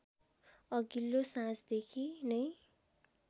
अघिल्लो साँझदेखि नै